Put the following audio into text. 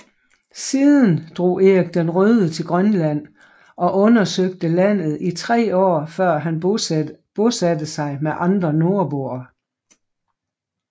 Siden drog Erik den Røde til Grønland og undersøgte landet i tre år før han bosatte sig med andre nordboere